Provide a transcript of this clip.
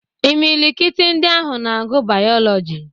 Imilikiti ndị ahụ na-agụ Bayọlọji.